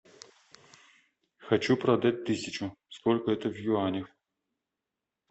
хочу продать тысячу сколько это в юанях